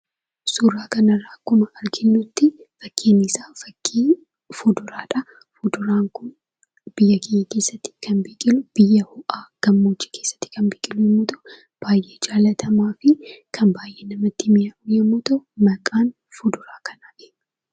Suuraa kanarraa akkuma arginutti, fakkiin isaa fakkii muduraadha. Muduraan kun biyya keenya keessatti kan biqilu biyya ho'aa biyya gammoojjii keessatti kan biqilu yommuu ta'u, baay'ee jaallatamaa fi kan baay'ee mi'aawu yemmuu ta'u, maqaan fuduraa kanaa eenyu?